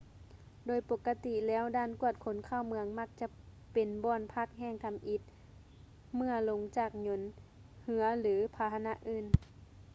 ໂດຍປົກກະຕິແລ້ວດ່ານກວດຄົນເຂົ້າເມືອງມັກຈະເປັນບ່ອນພັກແຫ່ງທຳອິດເມື່ອລົງຈາກຍົນ ເຮືອ ຫຼື ພາຫະນະອື່ນ